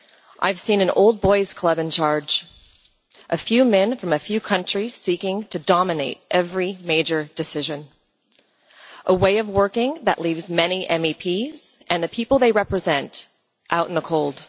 I have seen an old boys' club in charge, a few men from a few countries seeking to dominate every major decision, and a way of working that leaves many MEPs and the people they represent out in the cold.